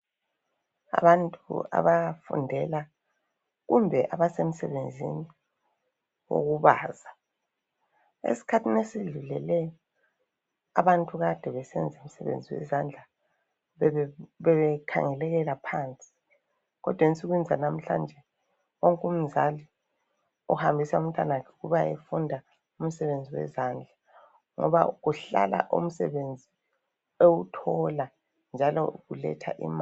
Abantu abafundela kumbe abasemsebenzini yokubaza esikhathini esidlulileyo abantu ade besenza umsebenzi wezandla bebekhangeleleka phansi kodwa ensukwini zanamuhla wonke umzali uhambisa umntwana wakhe ukuba eyefunda umsebenzi wezandla ngoba kuhlala umsebenzi ewuthola njalo kuletha imali